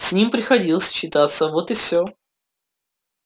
с ним приходилось считаться вот и всё